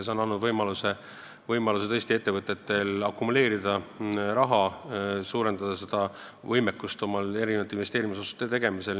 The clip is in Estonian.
See on andnud tõesti ettevõtetele võimaluse raha akumuleerida, suurendada selle kasvatamise võimekust oma investeerimisotsuste tegemisel.